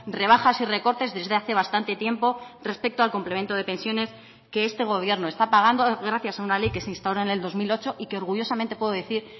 rebajas y recortes desde hace bastante tiempo respecto al complemento de pensiones que este gobierno está pagando gracias a una ley que se instaura en el dos mil ocho y que orgullosamente puedo decir